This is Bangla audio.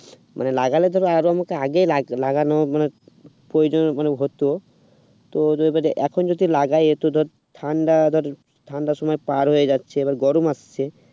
মানে লাগালে ধর মানে আমাকে আরো লাগানোর মানে প্রয়োজন মানে হতো তো এখন যদি লাগাই এইটা ধর ঠান্ডা আবার ঠান্ডার সময় পার হয়ে যাচ্ছে এবং গরম আসছে